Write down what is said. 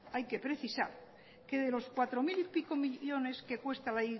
hay que precisar que de los cuatro mil y pico millónes que cuesta la